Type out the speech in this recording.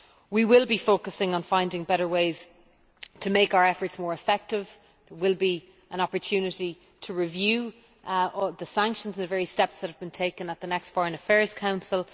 We will be focusing on finding better ways to make our efforts more effective. There will be an opportunity to review the sanctions and the very steps that have been taken at the next Foreign Affairs Council.